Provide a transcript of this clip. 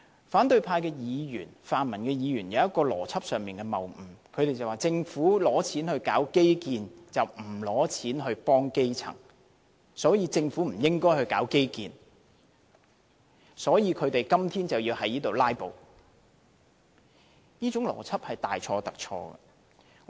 反對派議員、泛民議員有一個邏輯上的謬誤，他們說政府撥款進行基建，而不撥款幫助基層，所以政府不應進行基建，而他們要"拉布"反對預算案。